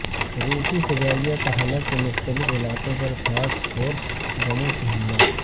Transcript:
روسی فضائیہ کا حلب کے مختلف علاقوں پر فاسفورس بموں سےحملہ